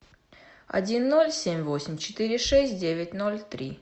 один ноль семь восемь четыре шесть девять ноль три